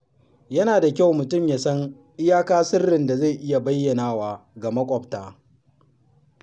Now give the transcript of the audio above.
Yana da kyau mutum ya san iyaka sirrin da zai iya bayyanawa ga maƙwabta.